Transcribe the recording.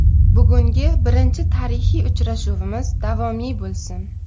Bugungi birinchi tarixiy uchrashuvimiz doimiy bo‘lsin.